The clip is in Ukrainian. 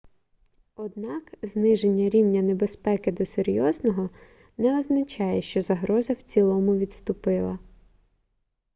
однак зниження рівня небезпеки до серйозного не означає що загроза в цілому відступила